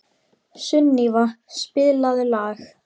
Sunníva, spilaðu lag.